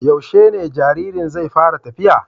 Yaushe ne jaririn zai fara tafiya?